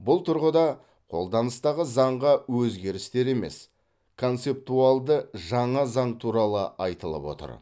бұл тұрғыда қолданыстағы заңға өзгерістер емес концептуалды жаңа заң туралы айтылып отыр